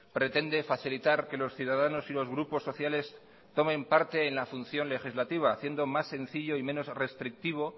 pretende facilitar que los ciudadanos y los grupos sociales tomen parte en la función legislativa haciendo más sencillo y menos restrictivo